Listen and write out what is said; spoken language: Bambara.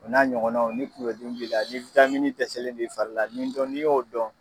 O n'a ɲɔgɔnnaw ni kuŋolo dimi b'i la , ni dɛsɛlen do i fari la nin dɔ n'i y'o dɔn